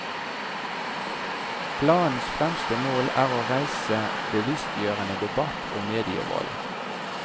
Planens fremste mål er å reise bevisstgjørende debatt om medievold.